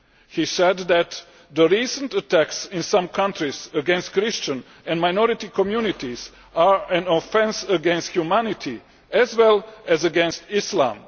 He said that the recent attacks in some countries against Christian and minority communities are an offence against humanity as well as against Islam.